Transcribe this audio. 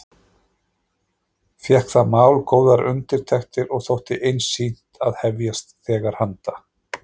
Fékk það mál góðar undirtektir og þótti einsýnt að hefjast þegar handa.